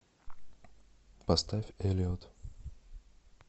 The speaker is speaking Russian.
поставь элиот